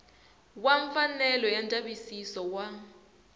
wa mfanelo ya ndzavisiso wa